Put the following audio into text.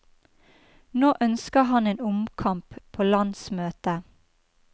Nå ønsker han en omkamp på landsmøtet.